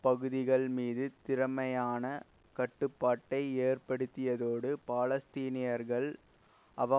பகுதிகள் மீது திறமையான கட்டுப்பாட்டை ஏற்படுத்தியதோடு பாலஸ்தீனியர்கள் அவ